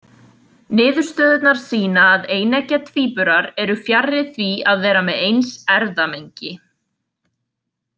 Niðurstöðurnar sýna að eineggja tvíburar eru fjarri því að vera með eins erfðamengi.